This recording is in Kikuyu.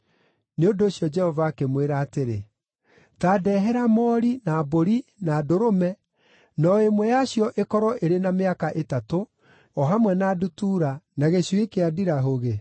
Nĩ ũndũ ũcio Jehova akĩmwĩra atĩrĩ, “Ta ndeehera moori, na mbũri, na ndũrũme, na o ĩmwe yacio ĩkorwo ĩrĩ na mĩaka ĩtatũ, o hamwe na ndutura, na gĩcui kĩa ndirahũgĩ.”